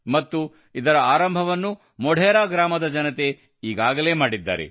ಮತ್ತು ಇದರ ಆರಂಭವನ್ನು ಮೊಢೆರಾ ಗ್ರಾಮದ ಜನತೆ ಈಗಾಗಲೇ ಮಾಡಿದ್ದಾರೆ